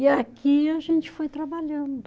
E aqui a gente foi trabalhando.